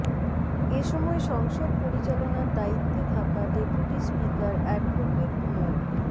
এ সময় সংসদ পরিচালনার দায়িত্বে থাকা ডেপুটি স্পিকার অ্যাডভোকেট মো